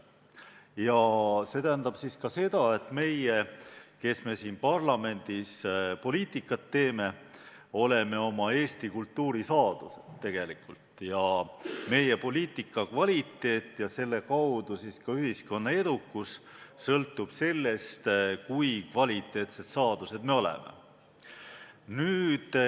Ja see tähendab siis ka seda, et meie, kes me siin parlamendis poliitikat teeme, oleme oma Eesti kultuuri saadused tegelikult ja meie poliitika kvaliteet ja selle kaudu siis ka ühiskonna edukus sõltub sellest, kui kvaliteetsed saadused me oleme.